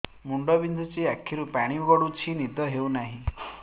ମୁଣ୍ଡ ବିନ୍ଧୁଛି ଆଖିରୁ ପାଣି ଗଡୁଛି ନିଦ ହେଉନାହିଁ